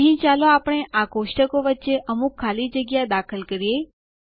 અહીં ચાલો આપણે આ ટેબલો કોષ્ટકો વચ્ચે અમુક ખાલી જગ્યા દાખલ કરીએ